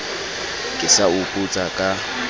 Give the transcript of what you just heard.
ke sa o putsa ka